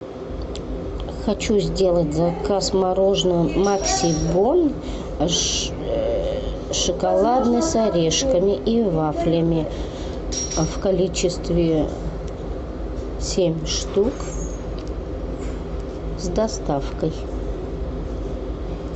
хочу сделать заказ мороженого максибон шоколадный с орешками и вафлями в количестве семь штук с доставкой